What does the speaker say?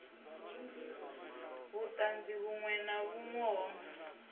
vhutanzi vhunwe na vhunwe ho